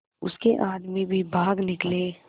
उसके आदमी भी भाग निकले